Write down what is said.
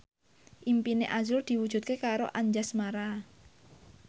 impine azrul diwujudke karo Anjasmara